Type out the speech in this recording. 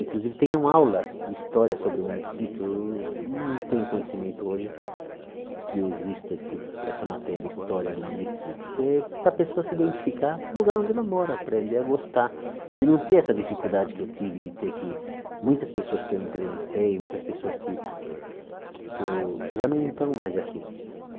Inclusive, tenham aula de história sobre o município, não tem o conhecimento hoje que exista esse essa matéria, história do município, que é para a pessoa se identificar o lugar onde ela mora, aprender a gostar e não ter essa dificuldade que eu tive de ter que muitas pessoas que eu entrevistei, muitas pessoas que que eu já não estão mais aqui.